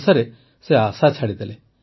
ଶେଷରେ ସେ ଆଶା ଛାଡ଼ିଦେଲେ